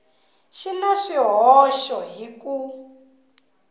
xi na swihoxo hi ku